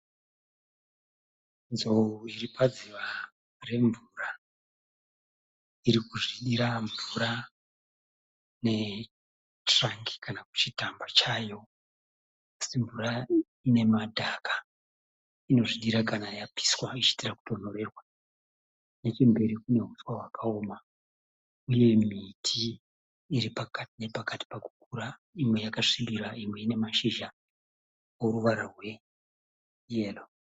Nzou iripadziva remvura, irikuzvidira mvura netirangi kana kuti chimutamba chayo asi mvura inemadhaga inozvidira kana yapiswa ichida kutonhorerwa nechemberi kune huswa hwakaoma uye miti iripakati nepakati pakukura , imwe yakasvibira imwe ine mashizha oruvara rweyero.